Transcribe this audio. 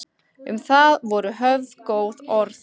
Um það voru höfð góð orð.